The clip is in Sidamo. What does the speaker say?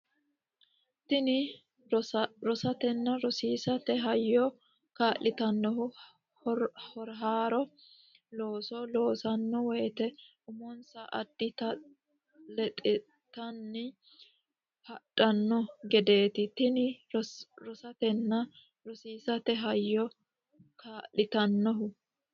Tini rosatenna rosiisate hayyo kaa litannohu haaro looso loossanno woyte umonsa addata lexxitanni hadhanno gedeeti Tini rosatenna rosiisate hayyo kaa litannohu.